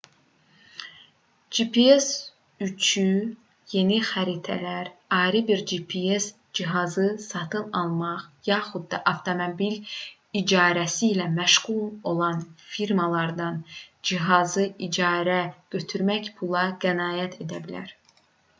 gps üçü yeni xəritələr ayrı bir gps cihazı satın almaq yaxud da avtomobil icarəsi ilə məşğul olan firmalardan cihazı icarəyə götürmək pula qənaət edə bilər